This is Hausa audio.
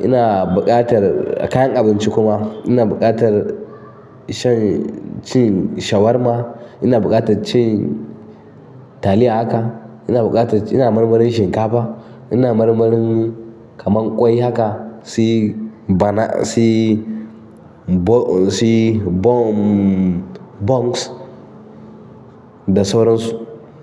Ina buƙatar a kayan abinci kuma ina buƙatar son cin shawarma, ina buƙatar cin taliya haka, ina buƙatar ina marmarin shinkafa, ina marmarin kaman ƙwai haka sai bana, bo, su yi bom, buns da soras.